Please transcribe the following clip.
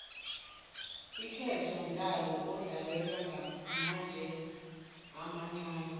iinketo mdlalo odlalwa ngamatje amancani